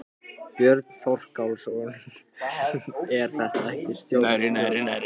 Björn Þorláksson: En er þetta ekki stórtjón?